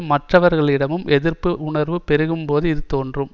மற்றவர்களிடமும் எதிர்ப்பு உணர்வு பெருகும் போது இது தோன்றும்